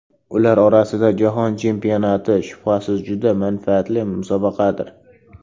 Ular orasida jahon chempionati shubhasiz juda manfaatli musobaqadir.